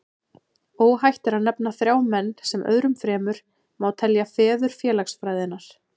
Óhætt er að nefna þrjá menn, sem öðrum fremur má telja feður félagsfræðinnar.